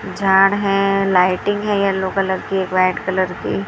झाड़ है लाइटिंग है येलो कलर की एक व्हाइट कलर की--